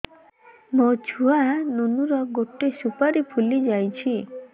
ମୋ ଛୁଆ ନୁନୁ ର ଗଟେ ସୁପାରୀ ଫୁଲି ଯାଇଛି